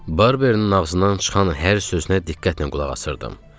Barbeinin ağzından çıxan hər sözünə diqqətlə qulaq asırdım.